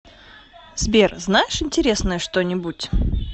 сбер знаешь интересное что нибудь